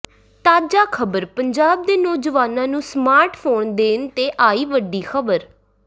ਤਾਜਾ ਖਬਰ ਪੰਜਾਬ ਦੇ ਨੌਜਵਾਨਾਂ ਨੂੰ ਸਮਾਰਟ ਫੋਨ ਦੇਣ ਤੇ ਆਈ ਵੱਡੀ ਖਬਰ